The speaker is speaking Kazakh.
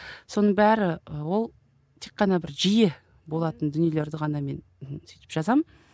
соның бәрі і ол тек қана бір жиі болатын дүниелерді ғана мен сөйтіп жазамын